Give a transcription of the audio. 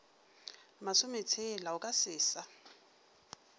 masometshela o ka se sa